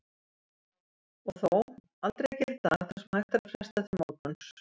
Og þó, aldrei að gera í dag það sem hægt er að fresta til morguns.